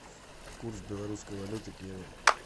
курс белорусской валюты к евро